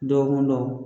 Dɔgɔkun dɔgɔ